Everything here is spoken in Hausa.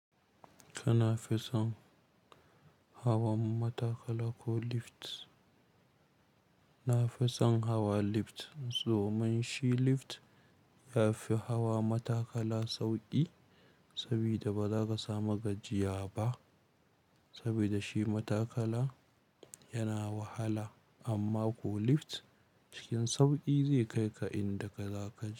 Kana fison hawan matakala ko lift? Na fison hawa lift, zoman shi lift yafi hawa matakala sauƙi sabida bazaka samu gajiya ba sabida shi matakala yana wahala amma ko lift cikin sauƙi zai kai ka inda kaza kai.